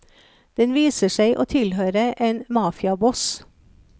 Den viser seg å tilhøre en mafiaboss.